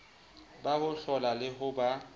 ba hohlola le ho ba